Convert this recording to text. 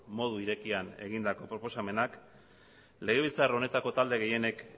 modu irekian egindako proposamenak legebiltzar honetako talde gehienek